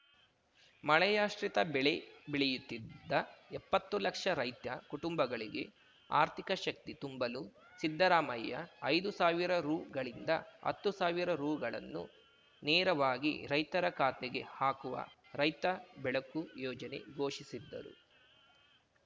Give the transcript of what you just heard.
ಮಳೆಯಾಶ್ರಿತ ಬೆಳೆ ಬೆಳೆಯುತ್ತಿದ್ದ ಎಪ್ಪತ್ತು ಲಕ್ಷ ರೈತ್ಯ ಕುಟುಂಬಗಳಿಗೆ ಆರ್ಥಿಕ ಶಕ್ತಿ ತುಂಬಲು ಸಿದ್ದರಾಮಯ್ಯ ಐದು ಸಾವಿರ ರುಗಳಿಂದ ಹತ್ತು ಸಾವಿರ ರುಗಳನ್ನು ನೇರವಾಗಿ ರೈತರ ಖಾತೆಗೆ ಹಾಕುವ ರೈತ ಬೆಳಕು ಯೋಜನೆ ಘೋಷಿಸಿದ್ದರು